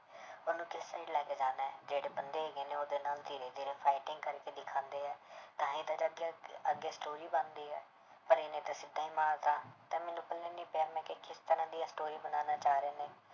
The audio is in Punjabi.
ਉਹਨੂੰ ਕਿੱਥੇ ਲੈ ਕੇ ਜਾਣਾ ਹੈ ਜਿਹੜੇ ਬੰਦੇ ਹੈਗੇ ਨੇ ਉਹਦੇ ਨਾਲ ਧੀਰੇ ਧੀਰੇ fighting ਕਰਕੇ ਦਿਖਾਉਂਦੇ ਹੈ ਤਾਂ ਹੀ ਤਾਂ ਅੱਗੇ story ਬਣਦੀ ਹੈ ਪਰ ਇਹਨੇ ਤਾਂ ਸਿੱਧਾ ਹੀ ਮਾਰ ਦਿੱਤਾ ਤਾਂ ਮੈਨੂੰ ਪੱਲੇ ਨੀ ਪਿਆ ਮੈਂ ਕਿਹਾ ਕਿਸ ਤਰ੍ਹਾਂ ਦੀ ਇਹ story ਬਣਾਉਣਾ ਚਾਹ ਰਹੇ ਨੇ।